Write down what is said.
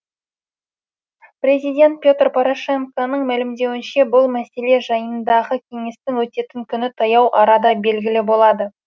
президент петр порошенконың мәлімдеуінше бұл мәселе жайындағы кеңестің өтетін күні таяу арада белгілі болады